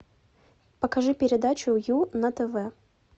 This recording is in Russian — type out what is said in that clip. покажи передачу ю на тв